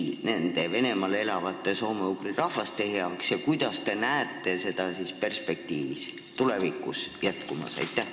Mida Eesti tegi Venemaal elavate soome-ugri rahvaste heaks ja kuidas see teie arvates tulevikus võiks jätkuda?